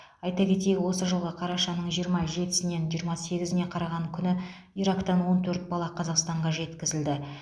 айта кетейік осы жылғы қарашаның жиырма жетісінен жиырма сегізіне қараған күні ирактан он төрт бала қазақстанға жеткізілді